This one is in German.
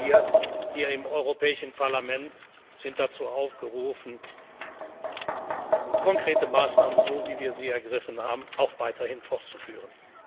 Atomkraft tragen. Gerade wir hier im Europäischen Parlament sind dazu aufgerufen, konkrete Maßnahmen, so wie wir sie ergriffen haben, auch weiterhin